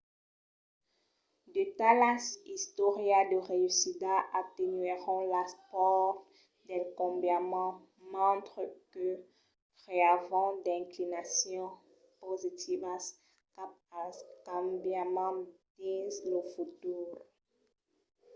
de talas istòrias de reüssida atenuèron las paurs del cambiament mentre que creavan d'inclinacions positivas cap al cambiament dins lo futur